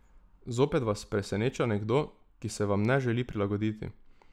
Zopet vas preseneča nekdo, ki se vam ne želi prilagoditi.